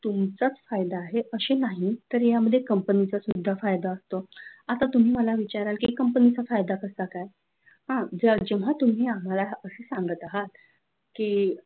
तुमचाच फायदा आहे असं नाही तर यामध्ये कंपन्यांचा सुद्धा फायदा असतो आता तुम्ही मला विचाराल की company चा फायदा कसा काय जेव्हा तुम्ही आम्हाला हा प्रश्न सांगत आहात की